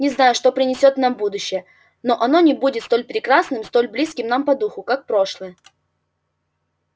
не знаю что принесёт нам будущее но оно не будет столь прекрасным столь близким нам по духу как прошлое